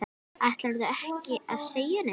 Ætlarðu ekki að segja neitt?